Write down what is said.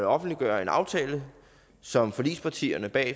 offentliggøre en aftale som forligspartierne bag